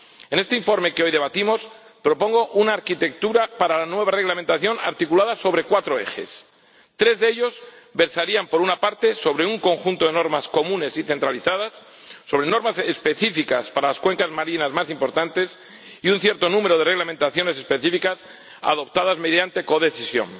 En este informe que hoy debatimos, propongo una arquitectura para la nueva reglamentación articulada sobre cuatro ejes tres de ellos versarían, por una parte, sobre un conjunto de normas comunes y centralizadas, sobre normas específicas para las cuencas marinas más importantes y sobre un cierto número de reglamentaciones específicas adoptadas mediante codecisión